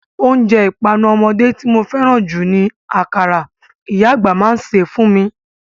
Oúnjẹ ìpanu ọmọdé tí mo fẹ́ràn jù ni akara, ìyá àgbà mi máa ń ṣe é fún mi.